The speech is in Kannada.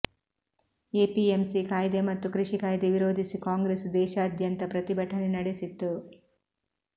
ಎಪಿಎಂಸಿ ಕಾಯಿದೆ ಮತ್ತು ಕೃಷಿ ಕಾಯಿದೆ ವಿರೋಧಿಸಿ ಕಾಂಗ್ರೆಸ್ ದೇಶಾದ್ಯಂತ ಪ್ರತಿಭಟನೆ ನಡೆಸಿತ್ತು